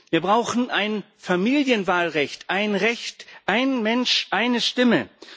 Wir brauchen ein Familienwahlrecht ein Recht, ein Mensch, eine Stimme.